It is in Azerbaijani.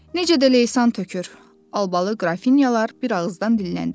Necə də leysan tökür, albalı qrafinyalar bir ağızdan dilləndilər.